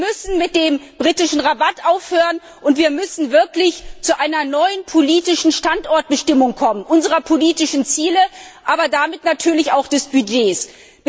Wir müssen mit dem britischen Rabatt aufhören, und wir müssen wirklich zu einer neuen politischen Standortbestimmung unserer politischen Ziele, aber natürlich auch unseres Budgets kommen.